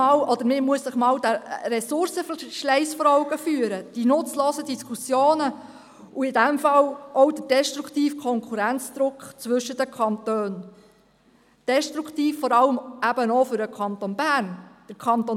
– Man muss sich den Ressourcenverschleiss vor Augen führen, die nutzlosen Diskussionen, in diesem Fall auch der destruktive Konkurrenzdruck zwischen den Kantonen, was vor allem auch für den Kanton Bern destruktiv ist.